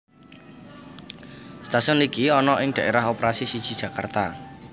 Stasiun iki ana ing Daerah Operasi siji Jakarta